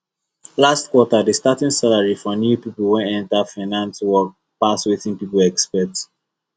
last quarter the starting salary for new people wey enter finance work pass wetin people expect